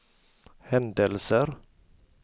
händelser